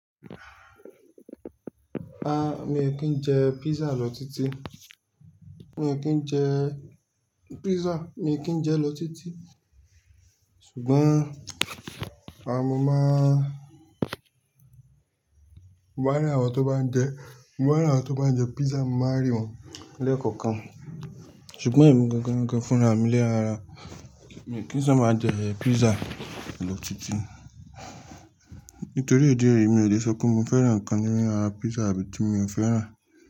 A mi ò kí ń jẹ pizza lọ títí. Mi ò kí ń jẹ pizza, mi ò kí ń jẹ lọ títí. Ṣùgbọ́n àh mọ́ n máa mo maá n rí àwọn tó bá ń jẹ, mo maá rí àwọn tó bá ń jẹ pizza, mo máa rí wọn lẹ́ẹ̀kọ̀kan. Ṣùgbọ́n èmi gan gan fúnra mi lé ara. Mi kí ń sába n jẹ pizza lọ títí. Nítorí ìdí èyí mi ò le sọ pé mi fẹ́ràn ǹkan nínú ara pizza tàbí tí mi ò fẹ́ràn.